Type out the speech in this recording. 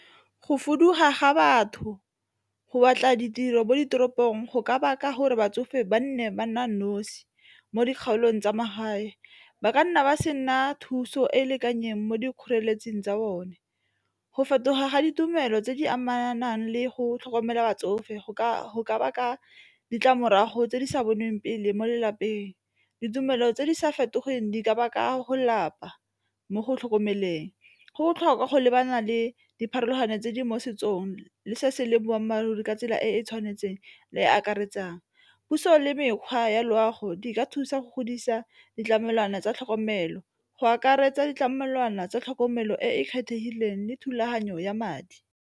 Go fudugela ga batho, go batla ditiro mo ditoropong go ka baka gore batsofe ba nne ba nna nosi mo dikgaolong tsa magae, ba ka nna ba se nna thuso e e lekaneng mo dikgoreletsing tsa bone. Go fetoga ga ditumelo tse di amanang le go tlhokomela batsofe go ka baka ditlamorago tse di sa bonweng pele mo lelapeng ditumelo tse di sa fetogeng di ka baka go lapa mo go tlhokomeleng. Go botlhokwa go lebana le dipharologano tse di mo setsong le se se leng boammaaruri ka tsela e e tshwanetseng le e e akaretsang, puso le mekgwa ya loago di ka thusa go godisa ditlamelwana tsa tlhokomelo go akaretsa ditlamelwana tsa tlhokomelo e e kgethegileng le thulaganyo ya madi.